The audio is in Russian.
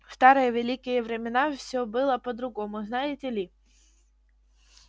в старые великие времена всё было по-другому знаете ли